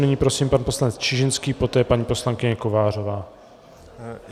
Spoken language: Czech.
Nyní prosím pan poslanec Čižinský, poté paní poslankyně Kovářová.